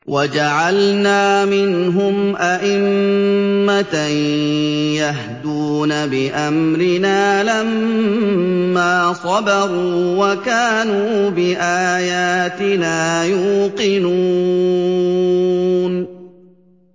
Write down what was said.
وَجَعَلْنَا مِنْهُمْ أَئِمَّةً يَهْدُونَ بِأَمْرِنَا لَمَّا صَبَرُوا ۖ وَكَانُوا بِآيَاتِنَا يُوقِنُونَ